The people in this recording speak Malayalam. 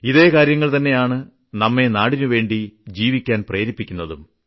ഇതെ കാര്യങ്ങൾ തന്നെയാണ് നമ്മെ നാടിനുവേണ്ടി ജീവിക്കാൻ പ്രേരിപ്പിക്കുന്നതും